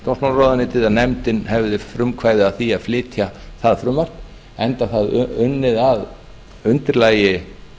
dómsmálaráðuneytið að nefndin hefði frumkvæði að því að flytja það frumvarp enda það unnið að undirlagi